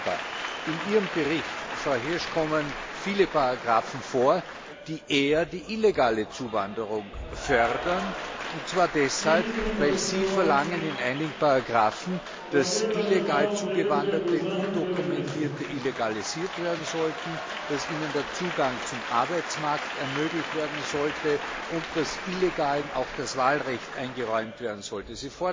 Aber in Ihrem Bericht, Frau Hirsch, kommen viele Artikel vor, die eher die illegale Zuwanderung fördern, und zwar deshalb, weil Sie in einigen Artikeln verlangen, dass illegal Zugewanderte, Personen ohne Ausweisdokumente, legalisiert werden sollten, dass Ihnen der Zugang zum Arbeitsmarkt ermöglicht werden sollte und dass Illegalen auch das Wahlrecht eingeräumt werden sollte.